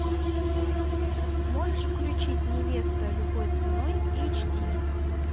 можешь включить невеста любой ценой эйч ди